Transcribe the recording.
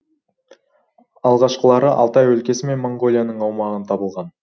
алғашқылары алтай өлкесі мен моңғолияның аумағын табылған